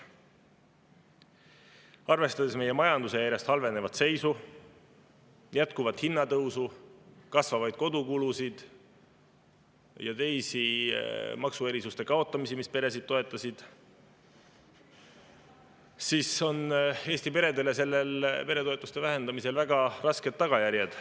Arvestades meie majanduse järjest halvenevat seisu, jätkuvat hinnatõusu, kasvavaid kodukulusid ja seda, et kaotatakse ära ka teised maksuerisused, mis peresid toetasid, on peretoetuste vähendamisel Eesti peredele väga rasked tagajärjed.